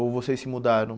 Ou vocês se mudaram?